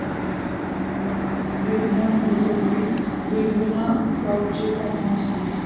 गिरणा नदी जवळील रिंगणगावाचे तापमान सांगा